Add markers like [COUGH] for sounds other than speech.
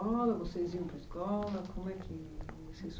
[UNINTELLIGIBLE] vocês iam para a escola como é que vocês